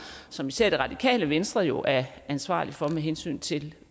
som især det radikale venstre jo er ansvarlige for med hensyn til